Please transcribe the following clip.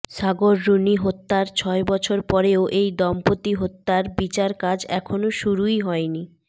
সাগর রুনি হত্যার ছয় বছর পরেও এই দম্পতি হত্যার বিচারকাজ এখনো শুরুই হয়নি